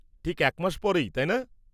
ঠিক এক মাস পরেই, তাই না?